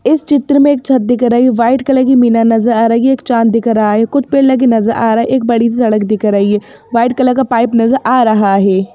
इस चित्र में एक छत दिख रही हैं वाइट कलर की मीना नजर आ रही है एक चांद दिख रहा हैं कुछ पेड़ लगे नजर आ रहा है एक बड़ी सड़क दिख रही हैं वाइट कलर का पाइप नजर आ रहा हैं।